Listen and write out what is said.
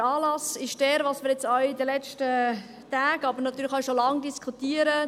Der Anlass ist derjenige, den wir jetzt in den letzten Tagen, aber natürlich auch schon lange diskutiert haben: